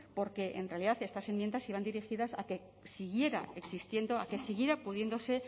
porque en realidad estas enmiendas iban dirigidas a que siguiera existiendo a que siguiera pudiéndose